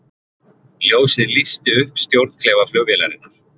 Ljósið lýsti upp stjórnklefa flugvélarinnar